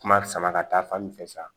Kuma sama ka taa fan min fɛ sa